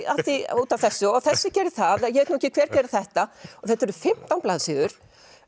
út af þessu og þessi gerði það ég veit nú ekki hver gerði þetta og þetta eru fimmtán blaðsíður